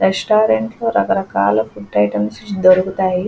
Restaurant లో రకరకాలుగా food items దొరుకుతాయి.